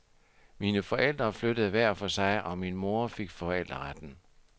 Mine forældre flyttede hver for sig, og min mor fik forældreretten.